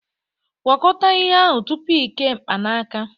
Gwakọta ihe ahụ tupu ị kee mkpanaka